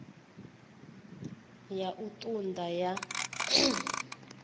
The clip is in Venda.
ya u ṱun ḓa ya